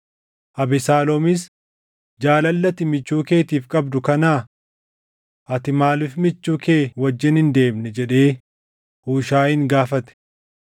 Abesaaloomis, “Jaalalli ati michuu keetiif qabdu kanaa? Ati maaliif michuu kee wajjin hin deemne?” jedhee Huushaayin gaafate.